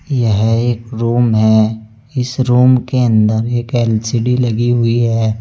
यह एक रूम है। इस रूम के अंदर एक एल_सी_डी लगी हुई है।